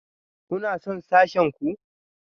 Kuna son sashen ku?